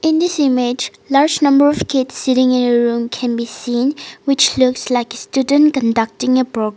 in this image large number of kids sitting in a room can be seen which looks like a student conducting a pro --